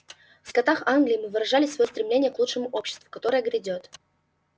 в скотах англии мы выражали своё стремление к лучшему обществу которое грядёт